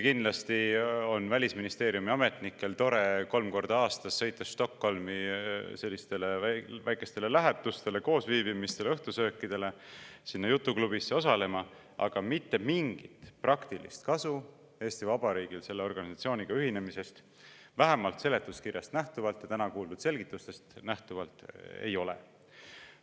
Kindlasti on Välisministeeriumi ametnikel tore kolm korda aastas sõita Stockholmi sellistele väikestele lähetustele, koosviibimistele, õhtusöökidele, sinna jutuklubisse osalema, aga mitte mingit praktilist kasu Eesti Vabariigil selle organisatsiooniga ühinemisest, vähemalt seletuskirjast ja täna kuuldud selgitustest nähtuvalt, ei ole.